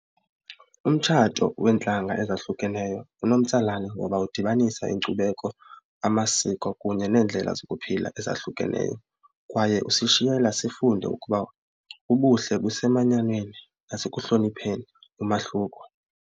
Umtshato weentlanga ezahlukeneyo unomtsalane ngoba udibanisa inkcubeko, amasiko kunye neendlela zokuphila ezahlukeneyo kwaye usishiyela sifunde ukuba ubuhle busemanyaneni nasekuhlonipheni umahluko.